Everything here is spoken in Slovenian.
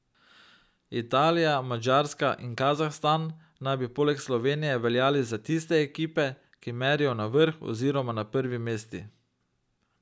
Italija, Madžarska in Kazahstan naj bi poleg Slovenije veljali za tiste ekipe, ki merijo na vrh oziroma na prvi mesti.